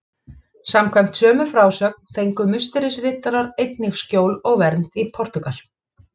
Samkvæmt sömu frásögn fengu Musterisriddarar einnig skjól og vernd í Portúgal.